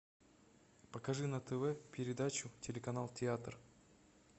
покажи на тв передачу телеканал театр